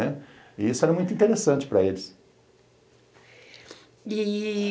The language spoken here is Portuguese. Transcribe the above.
Né, e isso era muito interessante para eles. E